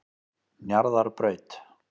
Njarðarbraut